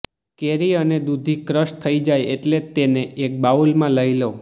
કેરી અને દૂધી ક્રશ થઈ જાય એટલે તેને એક બાઉલમાં લઈ લો